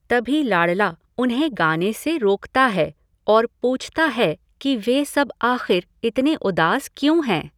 तभी लाड़ला उन्हें गाने से रोकता है और पूछता है कि वे सब आख़िर इतने उदास क्यों हैं।